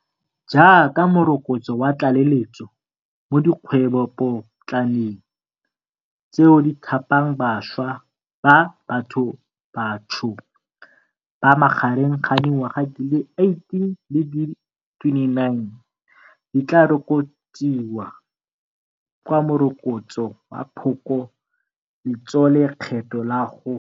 Jaaka morokotso wa tlaleletso mo dikgwebopotlaneng, tseo di thapang bašwa ba bathobatsho ba magareng ga dingwaga di le 18 le di le 29, di tlaa rokotsiwa ka go Morokotso wa Phoko letsolekgetho la go